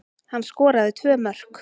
Hann skoraði tvö mörk